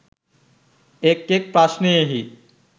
එක් එක් ප්‍රශ්නයෙහි